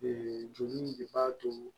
joli in de b'a to